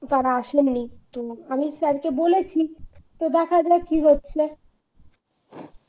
আর আসেনি তো আমি sir কে বলেছি তো দেখা যাক কি হচ্ছে